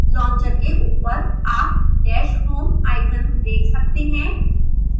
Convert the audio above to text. launcher के ऊपर आप dash home icon देख सकते हैं